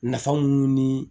Nafa mun ni